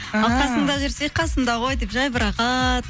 қасымда жүрсе қасымда ғой деп жай бір рахат